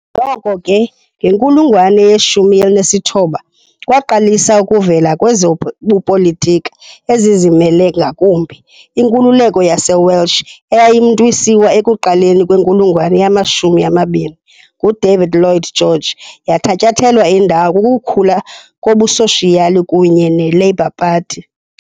Noko ke, ngenkulungwane ye-19 kwaqalisa ukuvela kwezobupolitika ezizimele ngakumbi, Inkululeko yaseWelsh, eyayimntwisiwe ekuqaleni kwenkulungwane yama-20 nguDavid Lloyd George, yathatyathelwa indawo kukukhula kobusoshiyali kunye neLabour Party.